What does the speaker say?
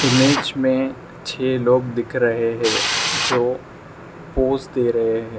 Image में छे लोग दिख रहे हैं जो पोज दे रहे हैं।